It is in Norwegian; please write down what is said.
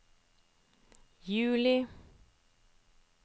juli